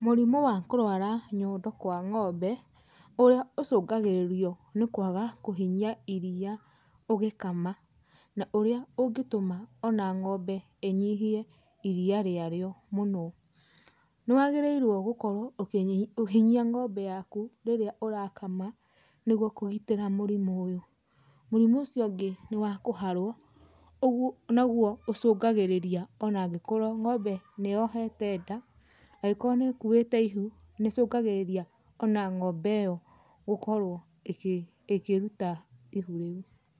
Mũrimũ wa kũrwara nyondo kwa ng'ombe ũrĩa ũcũngagĩrĩrio nĩ kwaga kũhinyia iria ũgĩkama na ũrĩa ũngĩtũma ona ng'ombe ĩnyihie iria rĩarĩo mũno. Nĩ wagĩrĩirwo gũkorwo ũkĩhinyia ng'ombe yaku rĩrĩa ũrakama nĩgwo kũgitĩra mũrimũ ũyũ. Mũrimũ ũcio ũngĩ nĩ wa kũharwo, ũguo naguo ũcũngagĩrĩria ona angĩkorwo ng'ombe nĩyohete nda, angĩkorwo nĩ ĩkuĩte ihu nĩ ĩcũngagĩrĩria ona ng'ombe ĩyo gũkorwo ĩkĩruta ihu rĩu.